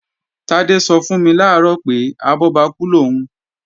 Tádé sọ fún mi làárọ̀ pé, abọ́bakú lòún